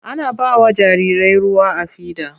Ana ba wa jarirai ruwa a fida.